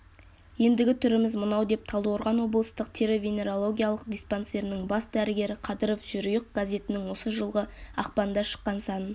ендігі түріміз мынау деп талдықорған облыстық тері-венерологиялық диспансерінің бас дәрігері қадыров жерұйық газетінің осы жылғы ақпанда шыққан санын